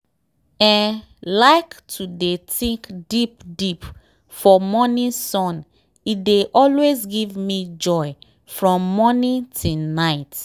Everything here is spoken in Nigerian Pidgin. eehi like to dey think deep deep for morning sun e dey always give me joy from morning till night.